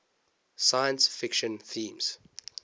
science fiction themes